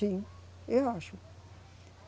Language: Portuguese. Sim, eu acho.